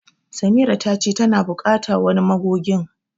Samira ta ce tana bukata wani magogin.